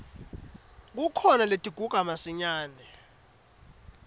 kukhona letiguga masinyane